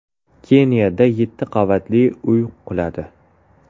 Keniyada yetti qavatli uy quladi.